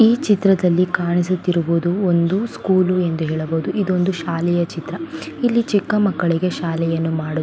ಈ ಚಿತ್ರದಲ್ಲಿ ಕಾಣಿಸುತ್ತಿರುವುದು ಒಂದು ಸ್ಕೂಲ್ ಎಂದು ಹೇಳಬಹುದು ಇದು ಒಂದು ಶಾಲೆಯ ಚಿತ್ರ ಇಲ್ಲಿ ಚಿಕ್ಕ ಮಕ್ಕಳಿಗೆ ಶಾಲೆಯನ್ನು ಮಾಡು --